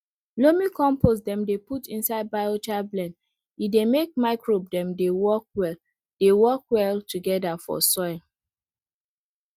loamy compost dem dey put inside biochar blend e dey make microbe dem dey work well dey work well together for soil